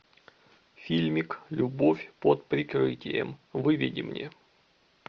фильмик любовь под прикрытием выведи мне